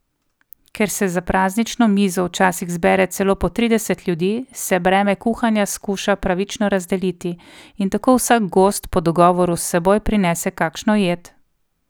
Ker se za praznično mizo včasih zbere celo po trideset ljudi, se breme kuhanja skuša pravično razdeliti, in tako vsak gost po dogovoru s seboj prinese kakšno jed.